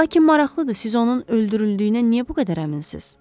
Lakin maraqlıdır, siz onun öldürüldüyünə niyə bu qədər əminsiniz?